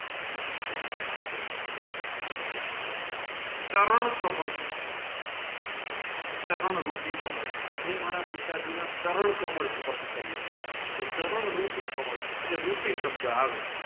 ચરણ કમળ ચારણ રૂપી કમાડ મેં મારા પિતાજીના ચરણ કમળ સ્પેર્સ કાર્ય ક્ટશહરણ રૂપી કમાડ એટલે રૂપી સબધ આવે